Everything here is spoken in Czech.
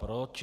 Proč?